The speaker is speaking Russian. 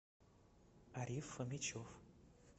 ариф фомичев